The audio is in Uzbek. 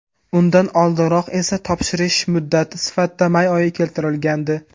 Undan oldinroq esa topshirilish muddat sifatida may oyi keltirilgandi .